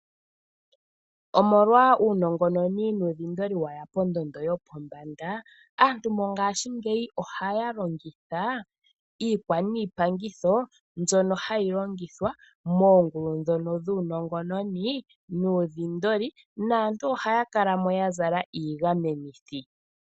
Omolwa uunongononi nuu dhindoli weya pondondo yo po mbanda, aantu mongaashingeyi ohaya longitha iikwa niipangitho mbyono hayi longithwa moongulu ndhono dhuu nongononinuu dhindoli, naantu ohaya kalamo ya zala iigamenithi.